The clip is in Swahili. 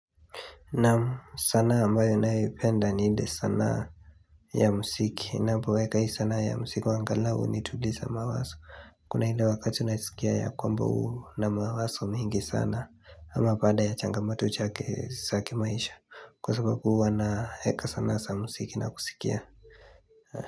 Naam, sanaa ambayo ninayoipenda ni ile sanaa ya muziki ninapoweka hii sana ya muziki angalau nitulize mawazo. Kuna ile wakati unayesikia ya kwamba una mawazo mengi sana ama baada ya chache za maisha kwa sababu hua naeka sanaa za muziki na kusikia uh.